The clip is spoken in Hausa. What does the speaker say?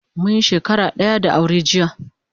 Munyi shakara daya da aure jiya